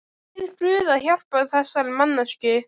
Bið guð að hjálpa þessari manneskju.